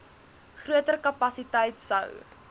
groter kapasiteit sou